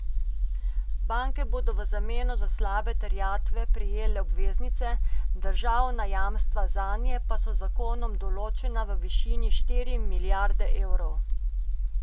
Banke bodo v zameno za slabe terjatve prejele obveznice, državna jamstva zanje pa so z zakonom določena v višini štiri milijarde evrov.